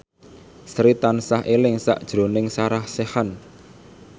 Sri tansah eling sakjroning Sarah Sechan